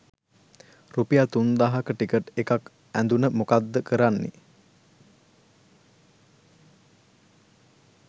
රුපියල් තුන්දාහක ටිකට් එකක් ඇදුන මොකද කරන්නෙ?